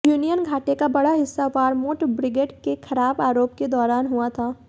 union घाटे का बड़ा हिस्सा वरमोंट ब्रिगेड के खराब आरोप के दौरान हुआ था